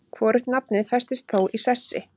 Hvorugt nafnið festist þó í sessi.